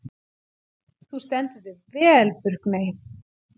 Þú stendur þig vel, Burkney!